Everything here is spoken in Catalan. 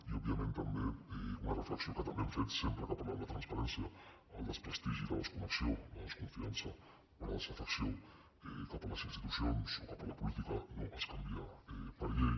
i òbviament també una reflexió que també hem fet sempre que parlàvem de transparència el desprestigi la desconnexió la desconfiança o la desafecció cap a les institucions o cap a la política no es canvia per llei